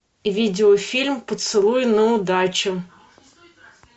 видеофильм поцелуй на удачу